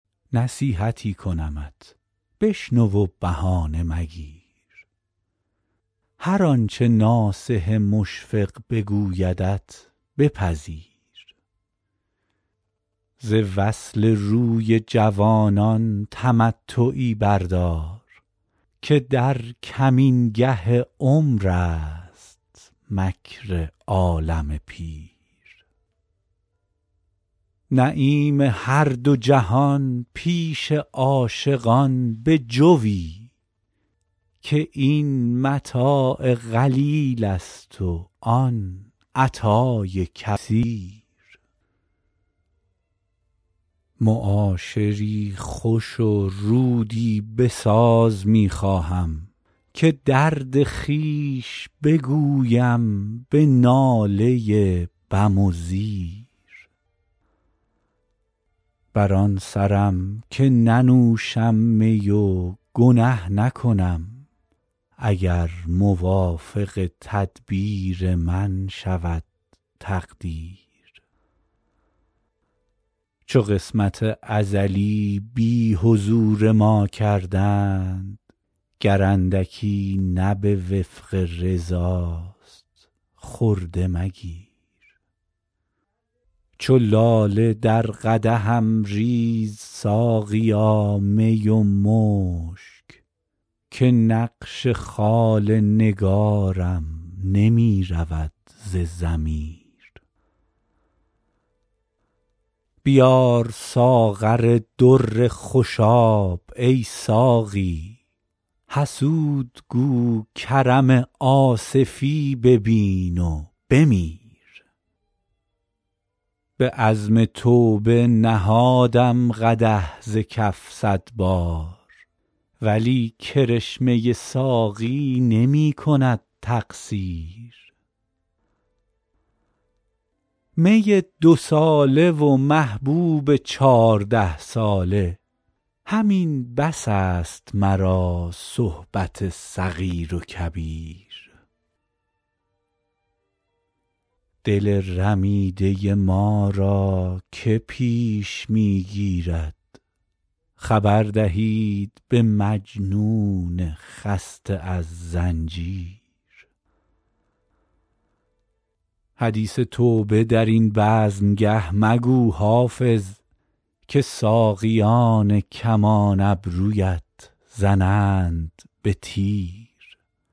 نصیحتی کنمت بشنو و بهانه مگیر هر آنچه ناصح مشفق بگویدت بپذیر ز وصل روی جوانان تمتعی بردار که در کمینگه عمر است مکر عالم پیر نعیم هر دو جهان پیش عاشقان بجوی که این متاع قلیل است و آن عطای کثیر معاشری خوش و رودی بساز می خواهم که درد خویش بگویم به ناله بم و زیر بر آن سرم که ننوشم می و گنه نکنم اگر موافق تدبیر من شود تقدیر چو قسمت ازلی بی حضور ما کردند گر اندکی نه به وفق رضاست خرده مگیر چو لاله در قدحم ریز ساقیا می و مشک که نقش خال نگارم نمی رود ز ضمیر بیار ساغر در خوشاب ای ساقی حسود گو کرم آصفی ببین و بمیر به عزم توبه نهادم قدح ز کف صد بار ولی کرشمه ساقی نمی کند تقصیر می دوساله و محبوب چارده ساله همین بس است مرا صحبت صغیر و کبیر دل رمیده ما را که پیش می گیرد خبر دهید به مجنون خسته از زنجیر حدیث توبه در این بزمگه مگو حافظ که ساقیان کمان ابرویت زنند به تیر